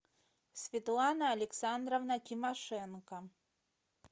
светлана александровна тимошенко